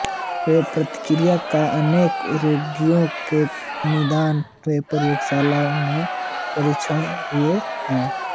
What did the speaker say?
इस प्रतिक्रिया का अनेक रोगियों के निदान में प्रयोगशालाओं में परीक्षण हुए हैं